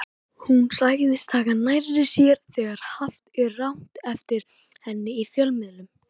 Hún segist taka nærri sér þegar haft er rangt eftir henni í fjölmiðlum.